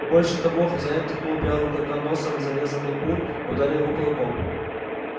больше того хозяин ткнул белого клыка носом в зарезанных кур и ударил его кулаком